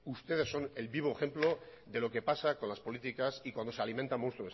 ustedes son el vivo ejemplo de lo que pasa con las políticas y cuando se alimenta el monstruo